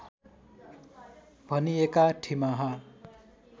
भनिएका ठिमाहा